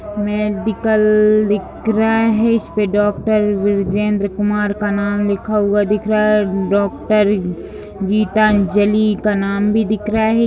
Medical दिख रहा है इस पे डॉक्टर बृजेंद्र कुमार का नाम लिखा हुआ दिख रहा है डॉक्टर गीतांजलि का नाम भी दिख रहा है।